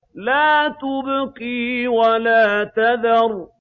لَا تُبْقِي وَلَا تَذَرُ